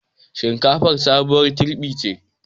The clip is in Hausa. Shinkafar sabuwar girɓi ce